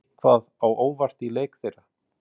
En kom eitthvað á óvart í leik þeirra?